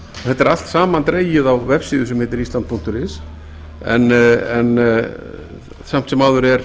þetta er allt samandregið á vefsíðu sem heitir island punktur is en samt sem áður er